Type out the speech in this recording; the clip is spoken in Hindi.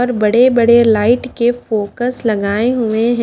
और बड़े बड़े लाइट के फोकस लगाए हुए हैं।